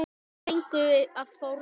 Þú þarft engu að fórna.